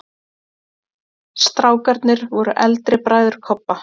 STRÁKARNIR voru eldri bræður Kobba.